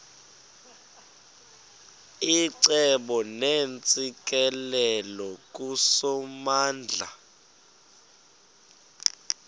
icebo neentsikelelo kusomandla